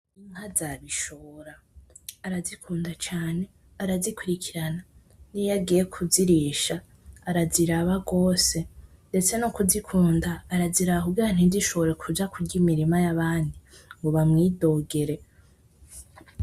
Inka za Bishora, arazikunda cane, arazikurikirana niyo agiye kuzirisha araziraba gose, ndetse no kuzikunda araziraba kugira ntizishobore kuja kurya imirima y'abandi ngo bamwidogere.